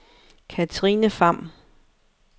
Kathrine Pham